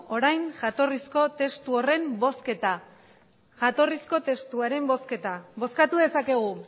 orain jatorrizko testu horren bozketa bozkatu dezakegu